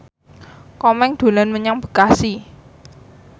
Komeng dolan menyang Bekasi